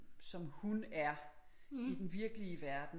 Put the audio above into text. Som hun er i den virkelig verden